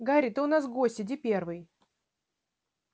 гарри ты у нас гость иди первый